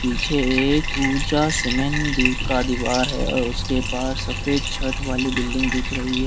पीछे एक ऊंचा सीमेंट ड्यू का दीवार है और उसके पास सफेद छत वाली बिल्डिंग दिख रही है।